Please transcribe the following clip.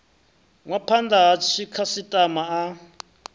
nwa phanda ha dzikhasitama a